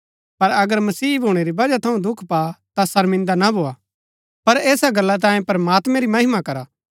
पर अगर मसीह भूणै री वजह थऊँ दुख पा ता शर्मिन्दा ना भोआ पर ऐसा गल्ला तांयें प्रमात्मैं री महिमा करा